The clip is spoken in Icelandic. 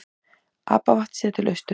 Apavatn séð til austurs.